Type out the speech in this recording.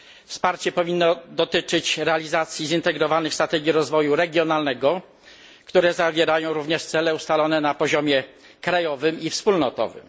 Wsparcie powinno dotyczyć realizacji zintegrowanych strategii rozwoju regionalnego, które zawierają również cele ustalone na poziomie krajowym i wspólnotowym.